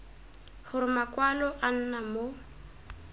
gore makwalo a nna mo